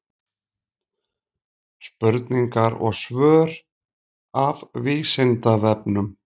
Spurningar og svör af Vísindavefnum.